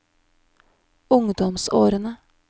ungdomsårene